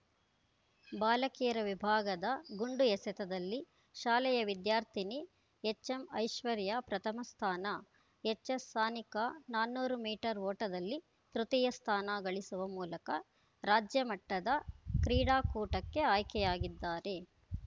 ಬಾಲಕಿಯರ ವಿಭಾಗದ ಗುಂಡು ಎಸೆತದಲ್ಲಿ ಶಾಲೆಯ ವಿದ್ಯಾರ್ಥಿನಿ ಎಚ್‌ಎಂ ಐಶ್ವರ್ಯ ಪ್ರಥಮ ಸ್ಥಾನ ಎಚ್‌ಎಸ್‌ಸಾನಿಕಾ ನಾನೂರು ಮೀಟರ್ ಓಟದಲ್ಲಿ ತೃತೀಯ ಸ್ಥಾನ ಗಳಿಸುವ ಮೂಲಕ ರಾಜ್ಯಮಟ್ಟದ ಕ್ರೀಡಾಕೂಟಕ್ಕೆ ಆಯ್ಕೆಯಾಗಿದ್ದಾರೆ